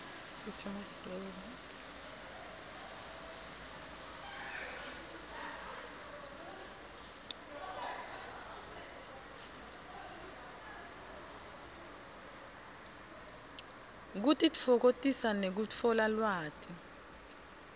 kutitfokotisa nekutfola lwati